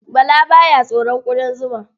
Bala ba ya tsoron ƙudan zuma.